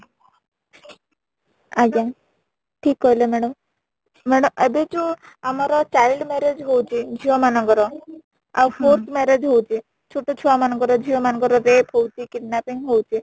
ଆଜ୍ଞା ଠିକ କହିଲେ madam , ମାଡା ଏବେ ଯୋଉ ଆମର child marriage ହଉଛି ଝିଅ ମାନଙ୍କର ଆଉ court marriage ହଉଛି ଛୋଟ ଛୁଆ ମାନ ଙ୍କର ,ଝିଅ ମାନ ଙ୍କର rape ହଉଛି kidnapping ହଉଛି